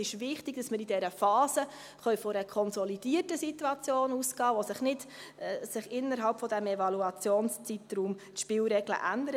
Es ist wichtig, dass wir in dieser Phase von einer konsolidierten Situation ausgehen können, bei der sich innerhalb dieses Evaluationsspielraums die Spielregeln nicht ändern.